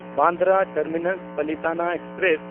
Bandra ᱴᱟᱨᱢᱤᱱᱟᱥ–ᱯᱟᱞᱤᱛᱟᱱᱟ express